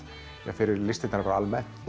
fyrir listirnar almennt